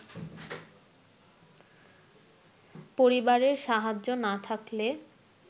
পরিবারের সাহায্য না থাকলে